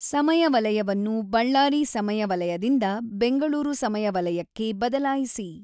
ಸಮಯ ವಲಯವನ್ನು ಬಳ್ಳಾರಿ ಸಮಯ ವಲಯದಿಂದ ಬೆಂಗಳೂರು ಸಮಯ ವಲಯಕ್ಕೆ ಬದಲಾಯಿಸಿ